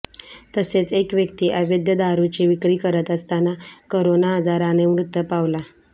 तसेच एक व्यक्ती अवैध दारूची विक्री करत असताना करोना आजाराने मृत पावला